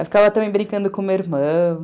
Eu ficava também brincando com o meu irmão.